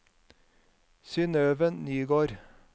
Synøve Nygård